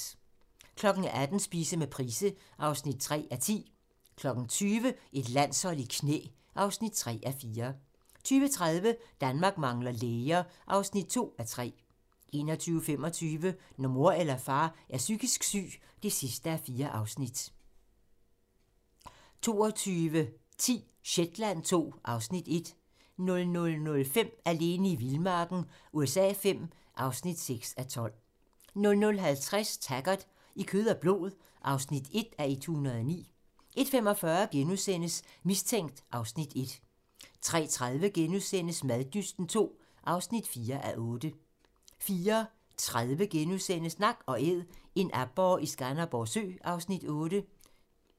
18:00: Spise med Price (3:10) 20:00: Et landshold i knæ (3:4) 20:30: Danmark mangler læger (2:3) 21:25: Når mor eller far er psykisk syg (4:4) 22:10: Shetland II (Afs. 1) 00:05: Alene i vildmarken USA V (6:12) 00:50: Taggart: I kød og blod (1:109) 01:45: Mistænkt (Afs. 1)* 03:30: Maddysten II (4:8)* 04:30: Nak & Æd - en aborre i Skanderborg Sø (Afs. 8)*